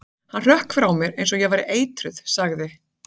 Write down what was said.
Hann hrökk frá mér eins og ég væri eitruð- sagði